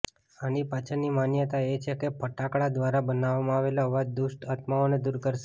આની પાછળની માન્યતા એ છે કે ફટાકડા દ્વારા બનાવવામાં આવેલા અવાજ દુષ્ટ આત્માઓને દૂર કરશે